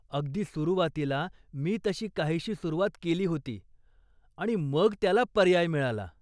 अगदी सुरुवातीला मी तशी काहीशी सुरुवात केली होती आणि मग त्याला पर्याय मिळाला.